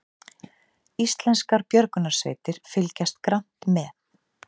Íslenskar björgunarsveitir fylgjast grannt með